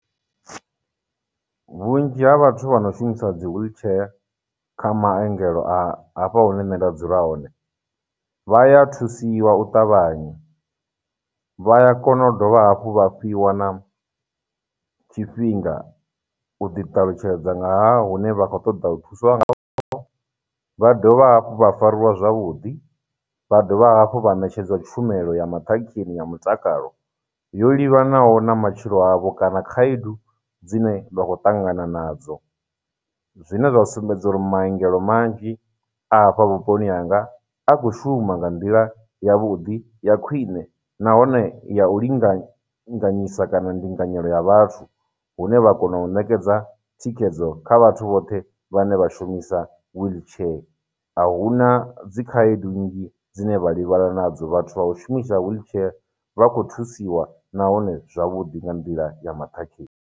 Vhunzhi ha vhathu vha no shumisa dzi wheelchair kha maongelo a hafha hune nṋe nda dzula hone vha ya thusiwa u ṱavhanya, vha ya kona u dovha hafhu vha fhiwa na tshifhinga u ḓi ṱalutshedza nga hune vha khou ṱoḓa u thuswa ngaho, vha dovha hafhu vha fariwa zwavhuḓi, vha dovha hafhu vha ṋetshedzwa tshumelo ya maṱhakheni ya mutakalo yo livhanaho na matshilo avho, kana khayedu dzine vha khou ṱangana nadzo. Zwine zwa sumbedza uri maungelo manzhi a hafha vhuponi hanga, a khou shuma nga nḓila ya vhuḓi, ya khwine, nahone ya u linga nganyisa kana ndinganyelo ya vhathu hune vha kona u nekedza thikhedzo kha vhathu vhoṱhe vhane vha shumisa wheelchair, ahuna dzi khaedu nnzhi dzine vha livhana nadzo, vhathu vha u shumisa wheelchair vha khou thusiwa nahone zwavhuḓi nga nḓila ya maṱhakheni.